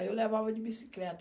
Aí eu levava de bicicleta.